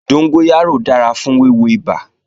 Dóngóyárò dára fún wíwo ibà